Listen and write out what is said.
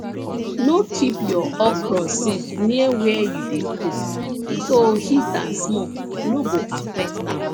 no keep your okra seeds near where you dey cook so heat and smoke no go affect am